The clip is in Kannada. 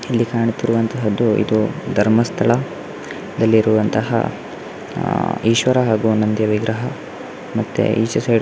ಇಲ್ಲಿ ಕಾಣುತ್ತಿರುವಂತಹದ್ದು ಇದು ಧರ್ಮಸ್ಥಳ ದಲ್ಲಿರುವಂತಹ ಅಹ್ ಈಶ್ವರ ಹಾಗು ನಂದಿ ವಿಗ್ರಹ ಮತ್ತೆ ಈಚೆ ಸೈಡ್ --